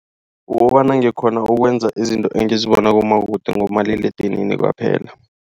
Ukobana ngikghona ukwenza izinto engizibona kumabonwakude ngomaliledinini kwaphela.